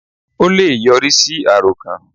Ó le è yọrí sí àròkàn